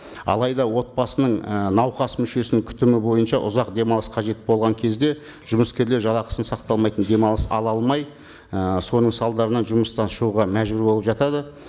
алайда отбасының і науқас мүшесінің күтімі бойынша ұзақ демалыс қажет болған кезде жұмыскерлер жалақысын сақталмайтын демалыс ала алмай і соның салдарынан жұмыстан шығуға мәжбүр болып жатады